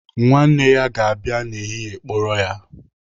Nwanne ya ga-abịa n'ehihie kpọrọ ya.